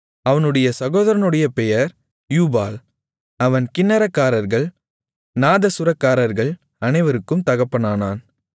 அவனுடைய சகோதரனுடைய பெயர் யூபால் அவன் கின்னரக்காரர்கள் நாதசுரக்காரர்கள் அனைவருக்கும் தகப்பனானான்